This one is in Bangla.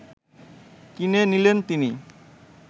কিনে নিলেন তিনি